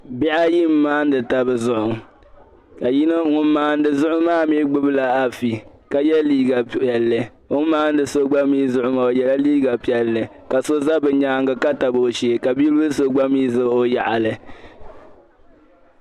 Bihi ayi m-maani taba zuɣu ka yino ŋun maani zuɣu maa mii gbubi la afi ka ye liiga piɛlli o ni maani so gba zuɣu maa o yela liiga piɛlli ka so za o nyaaŋa ka tabi o shee ka bi'bila so'mii gba za o laɣili.